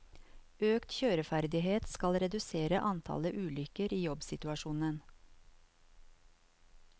Økt kjøreferdighet skal redusere antallet ulykker i jobbsituasjonen.